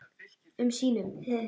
um sínum.